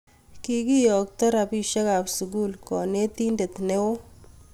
Kikiyookto robishe ab sukul konetinte ne oo.